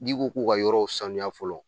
N'i ko k'u ka yɔrɔw sanuya fɔlɔ